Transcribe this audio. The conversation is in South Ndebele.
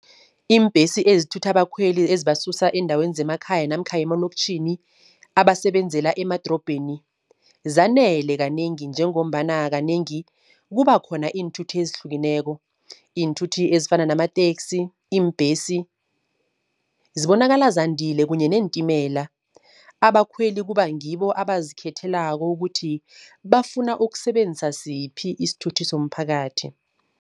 Iimbhesi ezithutha abakhweli ezibasusa eendaweni zemakhaya namkha emaloktjhini abasebenzela emadorobheni, zanele kanengi, njengombana kanengi kuba khona iinthuthi ezihlukeneko iinthuthi ezifana namateksi, iimbhesi zibonakala zandile kunye neentimela. Abakhweli kuba ngibo abazikhethelako ukuthi bafuna ukusebenzisa siphi isithuthi somphakathi.